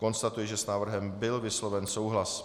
Konstatuji, že s návrhem byl vysloven souhlas.